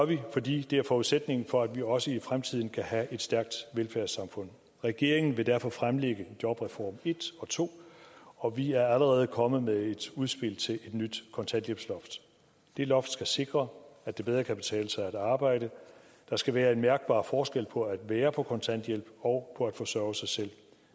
vi fordi det er forudsætningen for at vi også i fremtiden kan have et stærkt velfærdssamfund regeringen vil derfor fremlægge jobreform en og to og vi er allerede kommet med et udspil til et nyt kontanthjælpsloft det loft skal sikre at det bedre kan betale sig at arbejde der skal være en mærkbar forskel på at være på kontanthjælp og på at forsørge sig selv